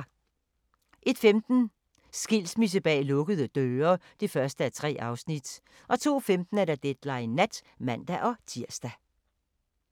01:15: Skilsmisse bag lukkede døre (1:3) 02:15: Deadline Nat (man-tir)